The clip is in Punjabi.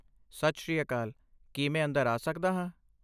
ਸਤਿ ਸ਼੍ਰੀ ਅਕਾਲ, ਕੀ ਮੈਂ ਅੰਦਰ ਆਂ ਸਕਦਾ ਹਾਂ?